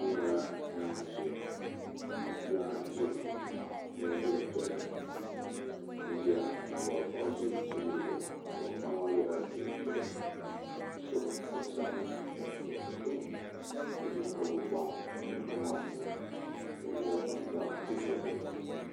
kpɛŋɔ nyɛla zanibu nyɛ paɣipuna ʒɛya maa o yɛla liga piɛli ka ʒɛya ka a wuriba paɣ' ʒɛ tihi zuɣ awuriba paɣ maa yɛla liga piɛli ka so binsabinli ka ʒɛya o ʒɛmi ka gbabi gban gban maa nyɛla zaɣ piɛli